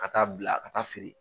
Ka taa bila ka taa feere.